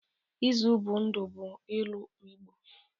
Izu bụ ndụ bụ ilu igbo.